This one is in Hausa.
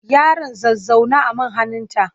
Yaron za zauna a man hannunta.